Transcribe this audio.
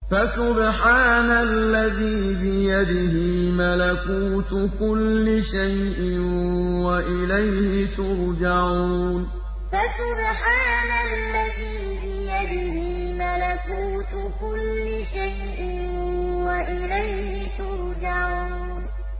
فَسُبْحَانَ الَّذِي بِيَدِهِ مَلَكُوتُ كُلِّ شَيْءٍ وَإِلَيْهِ تُرْجَعُونَ فَسُبْحَانَ الَّذِي بِيَدِهِ مَلَكُوتُ كُلِّ شَيْءٍ وَإِلَيْهِ تُرْجَعُونَ